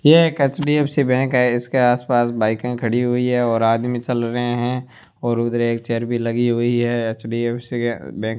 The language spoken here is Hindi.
ये एक एच_डी_एफ_सी बैंक है इसके आसपास बाईकें खड़ी हुई है और आदमी चल रहे हैं और उधर एक चेयर भी लगी हुई है एच_डी_एफ_सी बैंक --